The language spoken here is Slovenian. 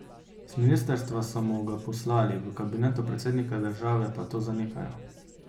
Z ministrstva so mu ga poslali, v kabinetu predsednika države pa to zanikajo.